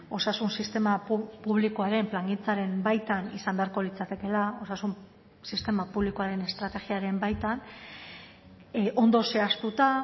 osasun sistema publikoaren plangintzaren baitan izan beharko litzatekela osasun sistema publikoaren estrategiaren baitan ondo zehaztuta